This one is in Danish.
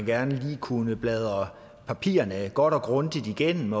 gerne lige kunne bladre papirerne godt og grundigt igennem